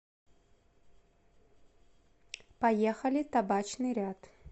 поехали табачный ряд